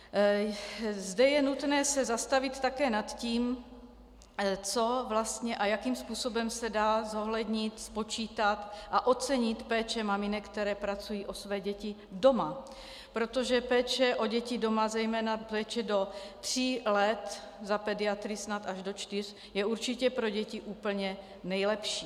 Zde je nutné se zastavit také nad tím, co vlastně a jakým způsobem se dá zohlednit, spočítat a ocenit péče maminek, které pečují o své děti doma, protože péče o děti doma, zejména péče do tří let, za pediatry snad až do čtyř, je určitě pro děti úplně nejlepší.